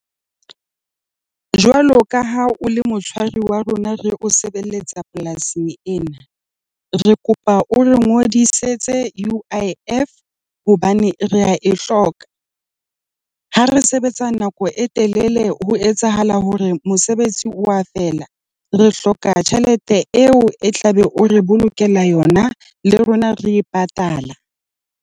Jwalo ka ha o le motshwari wa rona re o sebeletsa polasing ena, re kopa o re ngodisetse UIF hobane re a e hloka. Ha re sebetsa nako e telele ho etsahala hore mosebetsi wa fela re hloka tjhelete eo e tlabe o re bolokela yona le rona re e patala.